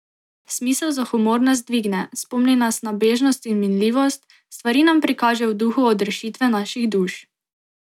Smisel za humor nas dvigne, spomni nas na bežnost in minljivost, stvari nam prikaže v duhu odrešitve naših duš.